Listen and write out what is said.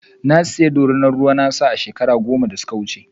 Na saya ɗorina ruwa na a shekaru goma da suka wuce.